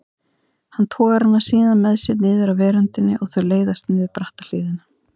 Hann togar hana síðan með sér niður af veröndinni og þau leiðast niður bratta hlíðina.